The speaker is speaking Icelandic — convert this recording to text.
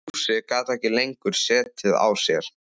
Fúsi gat ekki lengur setið á sér.